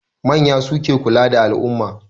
Manya suke kula da al'umma.